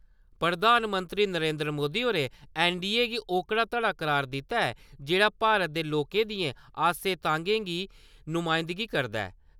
प्रधानमंत्री नरेन्द्र मोदी होरें ऐन्नडीए गी ओकड़ा धड़ा करार दित्ता ऐ जेह्ड़ा भारत दे लोकें दियें आसें–तांह्गें दी नुमाइंदगी करदा ऐ।